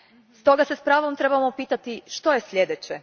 Stoga se s pravom trebamo pitati što je sljedeće.